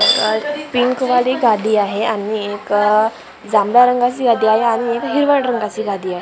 अ pink वाली गादी आहे आणि एक जांभळ्या रंगाची गादी आहे आणि एक हिरवट रंगाची गादी आहे.